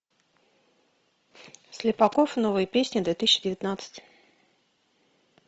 слепаков новые песни две тысячи девятнадцать